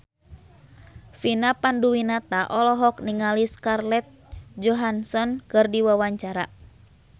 Vina Panduwinata olohok ningali Scarlett Johansson keur diwawancara